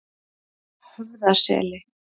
Höfðaseli